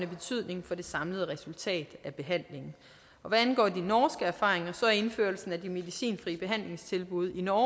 betydning for det samlede resultat af behandlingen hvad angår de norske erfaringer er indførelsen af de medicinfrie behandlingstilbud i norge